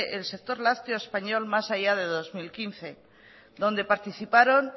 el sector lácteo español más allá de dos mil quince donde participaron